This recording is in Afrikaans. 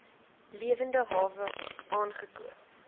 lewende hawe aangekoop